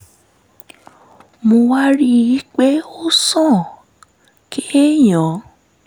mo wá rí i pé ó sàn kéèyàn